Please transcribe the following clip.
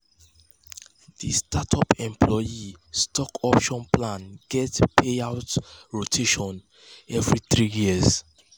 di startup employee stock option plan get payout payout rotation every three years.